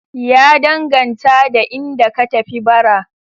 Ya danganta da inda ka tafi bara.